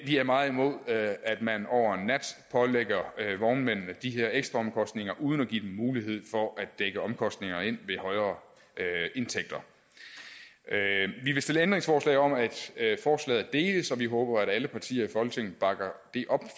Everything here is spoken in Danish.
vi er meget imod at man over en nat pålægger vognmændene de her ekstraomkostninger uden at give dem mulighed for at dække omkostningerne ind ved højere indtægter vi vil stille ændringsforslag om at forslaget deles og vi håber at alle partier i folketinget bakker det op